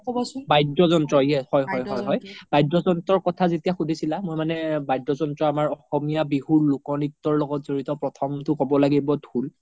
বাদ্য যন্ত্ৰ হয় হয় হয় বাদ্য যন্ত্ৰৰ কথা যেতিয়া সুধিছিলা মই মানে বাদ্য যন্ত্ৰ আমাৰ অসমীয়া বিহু লোক নিত্যৰ লগত যৰিত প্ৰথমতো ক্'ব লাগিব ধুল